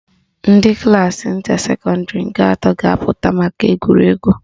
Ndị klaasị nta secondary nke atọ ga-apụta maka egwuregwu